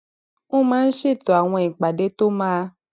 ó máa ń ṣètò àwọn ìpàdé tó máa